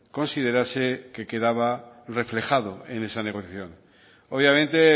considerase que quedaba reflejado en esa negociación obviamente